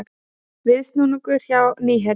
Viðsnúningur hjá Nýherja